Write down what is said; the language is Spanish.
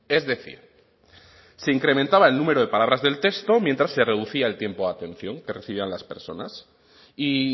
es decir se incrementaba el número de palabras del texto mientras se reducía el tiempo de atención que recibían las personas y